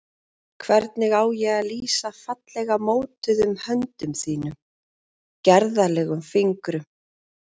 Hvernig á ég að lýsa fallega mótuðum höndum þínum, gerðarlegum fingrum?